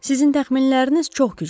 Sizin təxminləriniz çox güclüdür.